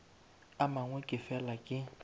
a mangwe ke fela ke